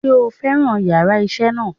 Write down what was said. Sé o fẹ́ràn yàrá isé náà